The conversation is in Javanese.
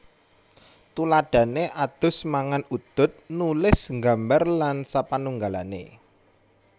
Tuladhané adus mangan udud nulis nggambar lan sapanunggalané